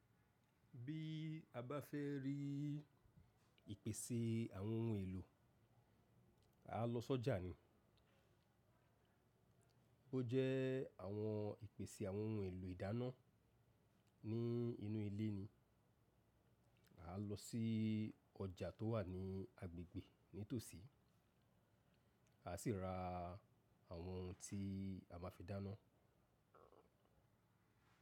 Bí a bá fẹ́ rí ìpèsè àwọn ohun èlò, a lọ sọ́jà ni. Ó jẹ àwọn ìpèsè àwọn ohun èlò ìdáná ní inú ilé ni. A lọ sí ọjà tó wà ní agbègbè nítòsí, a sì ra àwọn ohun tí a máa fi dáná.